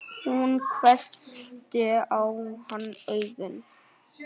Hún hvessti á hann augun.